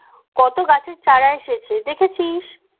কত গাছের চারা এসেছে দেখেছিস